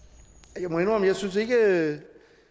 jeg må indrømme at synes at